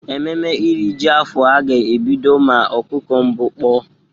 Ememe iri ji afọ a ga-ebido ma ọkụkụ mbụ kpọ.